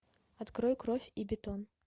открой кровь и бетон